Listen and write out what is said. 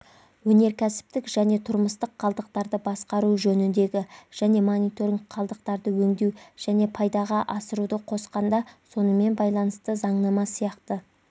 өнеркәсіптік және тұрмыстық қалдықтарды басқару жөніндегі және мониторинг қалдықтарды өңдеу және пайдаға асыруды қосқанда сонымен байланысты заңнама сияқты